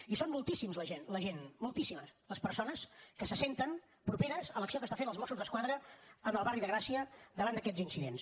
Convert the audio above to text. i són moltíssims la gent moltíssimes les persones que se senten properes a l’acció que estan fent els mossos d’esquadra en el barri de gràcia davant d’aquests incidents